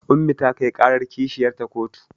Ummi ta kai ƙarar kishiyarta kotu